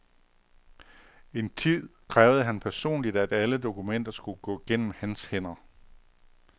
En tid krævede han personligt, at alle dokumenter skulle gå gennem hans hænder.